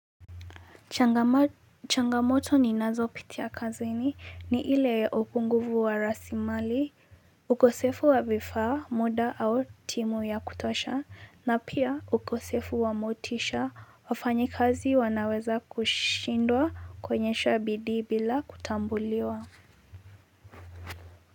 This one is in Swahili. Changamoto ninazopitia kazini ni ile ya upunguvu wa rasilimali ukosefu wa vifaa muda au timu ya kutosha na pia ukosefu wa motisha wafanyikazi wanaweza kushindwa kuonyesha bidii bila kutambuliwa.